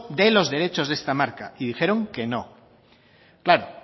de los derechos de esta marca y dijeron que no claro